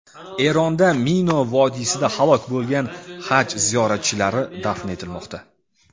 Eronda Mino vodiysida halok bo‘lgan Haj ziyoratchilari dafn etilmoqda.